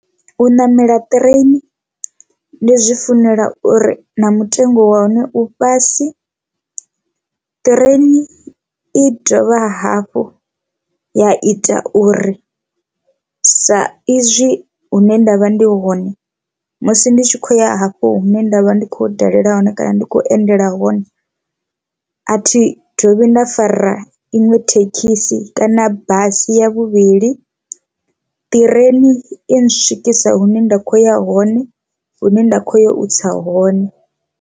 U ṋamela ṱireini ndi zwi funela uri na mutengo wa hone u fhasi, ṱireni i dovha hafhu ya ita uri sa izwi hune ndavha ndi hone musi ndi tshi khou ya hafho hune ndavha ndi kho dalela hone kana ndi khou endela hone athi dovhi nda fara ra iṅwe thekhisi kana basi ya vhuvhili, ṱireni i swikisa hune nda kho ya hone hune nda khou ya u tsa hone.